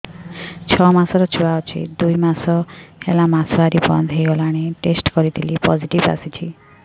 ଛଅ ମାସର ଛୁଆ ଅଛି ଦୁଇ ମାସ ହେଲା ମାସୁଆରି ବନ୍ଦ ହେଇଗଲାଣି ଟେଷ୍ଟ କରିଥିଲି ପୋଜିଟିଭ ଆସିଛି